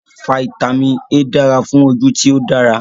Fáítámínì A dara fun oju ti o dara